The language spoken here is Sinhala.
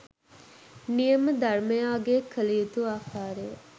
නියම ධර්මයාගය කළ යුතු ආකාරය